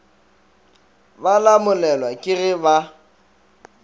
ba lamolelwa ke ge ba